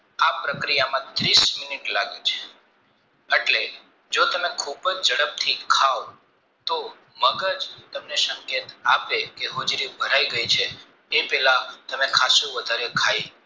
આ પ્રક્રિયામાં ત્રીસ મિનિટ લાગે છે એટલે જો તમે ખુબજ ઝડપથી ખાવ તો મગજ તમનબે સંકેત આપે કે હોજરી ભરાય ગે છે એ પેલા તમે ખાસું વધારેખય લો છે